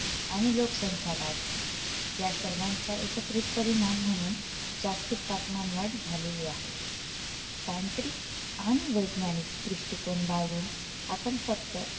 आणि लोकसंख्या वाढ या सर्वांचा एकत्रित परिणाम म्हणून जागतिक तापमान वाढ झालेली आहे तांत्रिक आणि वैज्ञानिक दृष्टिकोन बाळगून आपण फक्त